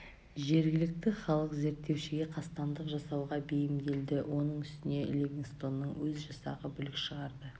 жергілікті халық зерттеушіге қастандық жасауға бейімделді оның үстіне ливингстонның өз жасағы бүлік шығарды